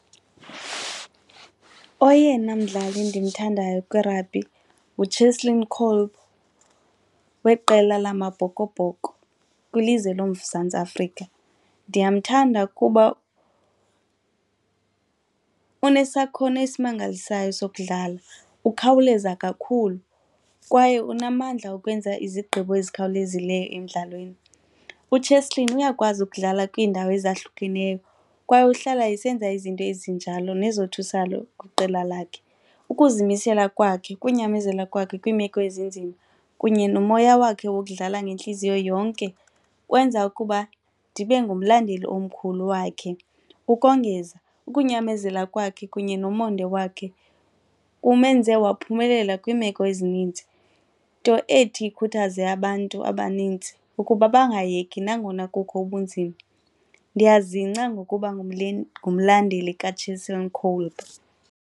Oyena mdlali endimthandayo kwirabhi nguCheslin Kolbe weqela laMabhokobhoko kwilizwe loMzantsi Afrika. Ndiyamthanda kuba unesakhono esimangalisayo sokudlala, ukhawuleza kakhulu kwaye unamandla okwenza izigqibo ezikhawulezileyo emdlalweni. UCheslin uyakwazi ukudlala kwiindawo ezahlukeneyo kwaye uhlala esenza izinto ezinjalo nezothusalo kwiqela lakhe. Ukuzimisela kwakhe, ukunyamezela kwakhe kwiimeko ezinzima kunye nomoya wakhe wokudlala ngentliziyo yonke kwenza ukuba ndibe ngumlandeli omkhulu wakhe. Ukongeza, ukunyamezela kwakhe kunye nomonde wakhe kumenze waphumela kwiimeko ezininzi nto ethi ikhuthaze abantu abanintsi ukuba bangayeki nangona kukho ubunzima. Ndiyazingca ngokuba ungumlandeli kaCheslin Kolbe.